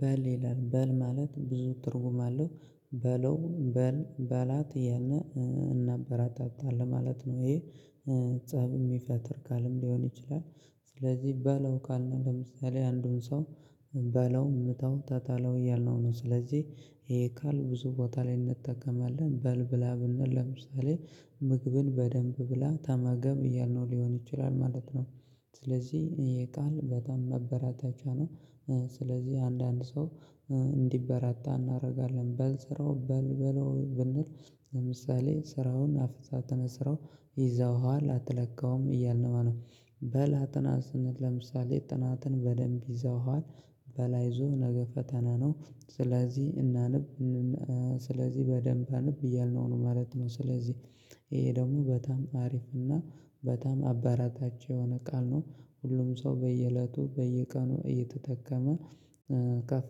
በል ይላል በል ማለት ብዙ ትርጉም አለው በለው በል በላት ያን እናጠረታታላን ማለት ነው። ይሄ ፀብ የሚፈትር ካለም ሊሆን ይችላል። ስለዚህ ባለው ካልን ለምሳሌ አንዱን ሰው በለው ምታው ታታለው እያልነው ነው። ስለዚህ ይሄ ካል ብዙ ቦታ ላይ እንጠቀማለን በል ብላ ብንል ለምሳሌ ምግብን በደንብ ብላ ታማገም እያልነው ሊሆን ይችላል ማለት ነው። ስለዚህ የቃል በጣም መበራታቻ ነው። ስለዚህ አንዳንድ ሰው እንዲበራታ እናደርጋለን በል ስራው በል በለው ብንል ለምሳሌ ስራውን አፍታ ተነስረው ይዘውሃል አትለቀውም እያልን ማነው በላጥናትነት ለምሳሌ ጥናትን በደንብ ይዘውታል። በላይ ይዞ ነገ ፈተና ነው። ስለዚህ እናንብ ስለዚህ በደንብ እንብ እያልነው ነው ማለት ነው። ስለዚህ ይሄ ደግሞ በጣም አሪፍ እና በጣም አባራታቸው የሆነ ቃል ነው። ሁሉም ሰው በየእለቱ በየቀኑ እየተጠቀመ ከፍ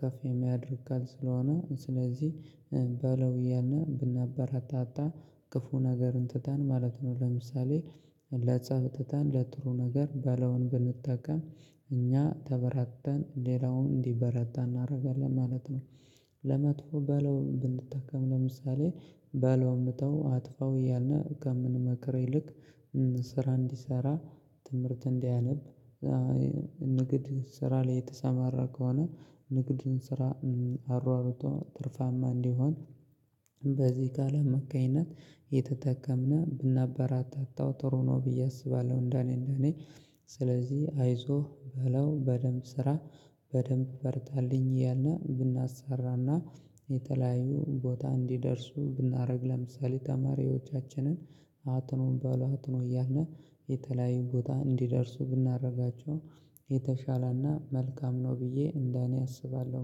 ከፍ የሚያደርግ ቃል ስለሆነ። ስለዚህ በለው እያለ ብነበረታታ ክፉ ነገርን ትተን ማለት ነው። ለምሳሌ ለጸብ ትተን ለጥሩ ነገር ባለውን ብንጠቀም እኛ ተበራተን ሌላውን እንዲበረታ እናደርጋለን ማለት ነው። ለመጥፎ በለው ብንተከም ለምሳሌ በለው እንተው አጥፋው እያልነህ ከምንመክረኝ ልክ ስራ እንዲሰራ ትምህርት እንዲያነብ ንግድ ስራ ላይ የተሰማራ ከሆነ ንግድን ስራ አሯሩቶ ትርፋማ እንዲሆን በዚህ ጋር ለመካኝነት የተጠቀምነው ብናበረታታው ጥሩ ነው ብዬ አስባለሁ። እንደኔ እንደኔ ስለዚህ አይዞህ በለው በደንብ ስራ። በደንብ ፈርታልኝ እያልን ብናሰራና የተለያዩ ቦታ እንዲደርሱ ብናደርግ ለምሳሌ ተማሪዎቻችንን አትኖም ባሏ አትኖ እያለ የተለያዩ ቦታ እንዲደርሱ ብናደርጋቸው የተሻለና መልካም ነው ብዬ እንደ እኔ አስባለሁ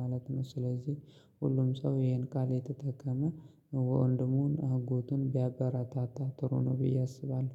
ማለት ነው። ስለዚህ ሁሉም ሰው ይሄን ካሌ ተጠቀመ ወንድሙን አጎቱን ቢያበራታታ ትሩ ብዬ አስባለሁ